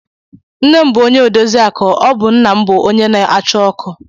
Nne m bụ odoziakụ, ọ bụ nna m bụ onye na-achụ ọkụ